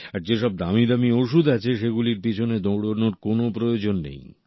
আর যেসব দামি দামি ওষুধ আছে সেগুলির পিছনে দৌড়ানোর কোন প্রয়োজন নেই